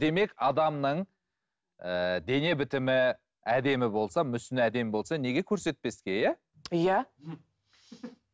демек адамның ііі дене бітімі әдемі болса мүсіні әдемі болса неге көрсетпеске иә иә